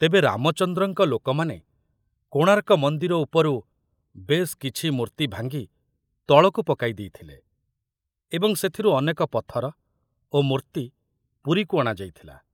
ତେବେ ରାମଚନ୍ଦ୍ରଙ୍କ ଲୋକମାନେ କୋଣାର୍କ ମନ୍ଦିର ଉପରୁ ବେଶ କିଛି ମୂର୍ତ୍ତି ଭାଙ୍ଗି ତଳକୁ ପକାଇ ଦେଇଥିଲେ ଏବଂ ସେଥିରୁ ଅନେକ ପଥର ଓ ମୂର୍ତ୍ତି ପୁରୀକୁ ଅଣାଯାଇଥିଲା।